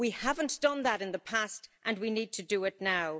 We haven't done that in the past and we need to do it now.